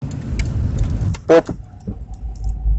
поп